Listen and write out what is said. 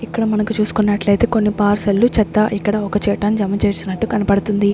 ఇక్కడ మనకు చూసుకున్నట్లయితే కొన్ని పార్సెల్లు చెత్త ఇక్కడ ఒక చేయటం జమ చేసినట్టు కనపడుతుంది.